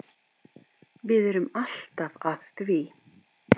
Við erum alltaf að því.